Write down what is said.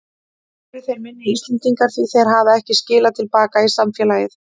Eru þeir minni Íslendingar því þeir hafa ekki skilað til baka í samfélagið?